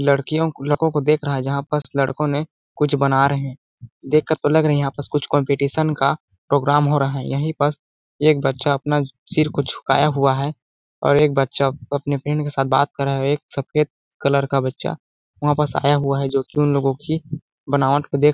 लड़कियों लड़को को देख रहा है जहाँ पास लड़कों ने कुछ बना रहे है देख कर लग रहा है यहाँ कुछ कम्पटीशन का प्रोग्राम हो रहा है यही पस एक बच्चा आपना सिर को झुकाया हुआ है और एक बच्चा आपने फ्रेंड के साथ बात कर रहा है एक सफ़ेद कलर का बच्चा वहाँ पास आया हुआ है जोकि उनलोगों की बनावट को दे --